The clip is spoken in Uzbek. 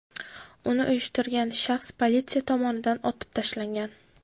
Uni uyushtirgan shaxs politsiya tomonidan otib tashlangan.